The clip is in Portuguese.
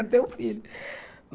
Para ter o filho.